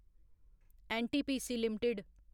NTPC limited